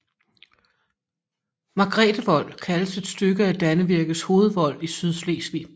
Margretevold kaldes et stykke af Dannevirkes hovedvold i Sydslesvig